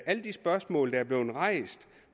alle de spørgsmål der bliver rejst